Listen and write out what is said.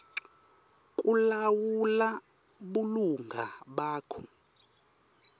kulawula bulunga bakho